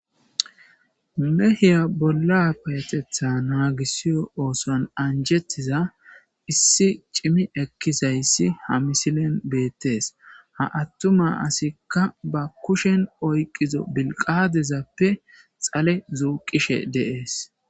Mehiya bolla payatetha naagisiyo ooson anjettiza issi cimi ekkizayssi ha misilen beettees ha attuma asikka ba kushen oyqizo bilqadezappe xale zuuqishe de'ees.